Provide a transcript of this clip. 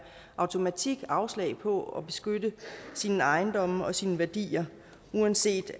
automatik afslag på at beskytte sin ejendom og sine værdier uanset